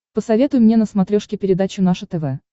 посоветуй мне на смотрешке передачу наше тв